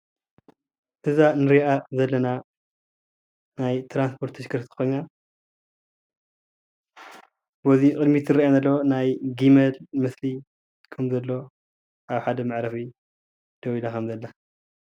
እዛ እንሪኣ ዘለና ናይ ትራንስፓርት ተሽከርካሪት ኾይና፤ በዚ ቅድሚት ዝርአየና ዘሎ ናይ ጊመል ምስሊ እውን እንሄዎ።